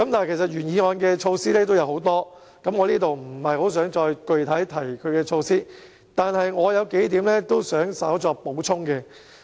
原議案的措施有很多，我在這裏不想具體重複有關措施，不過，我有數點想稍作補充。